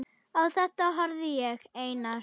Á þetta horfði ég, Einar